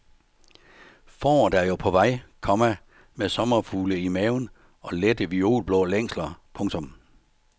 Foråret er jo på vej, komma med sommerfugle i maven og lette violblå længsler. punktum